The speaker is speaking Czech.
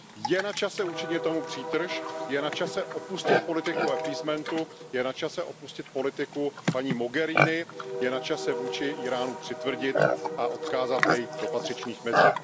Je na čase učinit tomu přítrž, je na čase opustit politiku appeasementu, je na čase opustit politiku paní Mogheriniové, je na čase vůči Íránu přitvrdit a odkázat jej do patřičných mezí.